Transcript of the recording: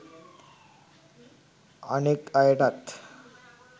අනෙක් අයටත්